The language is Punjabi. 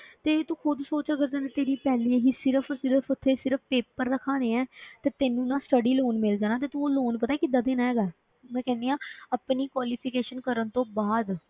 ਤੇ ਤੂੰ ਖੁੱਦ ਸੋਚ ਅਗਰ ਤੇਰੀ ਤੇਰੀ ਪੈਲੀ ਹੈਗੀ ਸਿਰਫ਼ ਸਿਰਫ਼ ਉੱਥੇ ਸਿਰਫ਼ paper ਦਿਖਾਉਣੇ ਹੈ ਤੇ ਤੈਨੂੰ ਨਾ study ਮਿਲ ਜਾਣਾ ਹੈ, ਤੇ ਤੂੰ ਉਹ loan ਪਤਾ ਹੈ ਕਿੱਦਾਂ ਦੇਣਾ ਹੈਗਾ ਹੈ, ਮੈਂ ਕਹਿੰਦੀ ਹਾਂ ਆਪਣੀ qualification ਕਰਨ ਤੋਂ ਬਾਅਦ